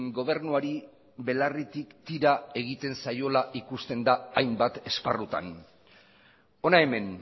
gobernuari belarritik tira egiten zaiola ikusten da hainbat esparrutan hona hemen